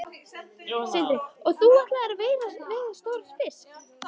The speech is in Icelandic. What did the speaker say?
Sindri: Og ætlar þú að veiða stóran fisk?